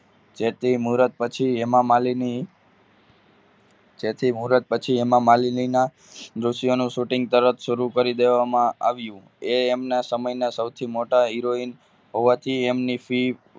જેથી મુરત પછી હેમામાલીની જેથી મુરત પછી હેમા માલિનીના દ્રશ્યોનું shooting તરત શરૂ કરી દેવામાં આવ્યું એ એમના સમયના સૌથી મોટા heroine હોવાથી એમની fee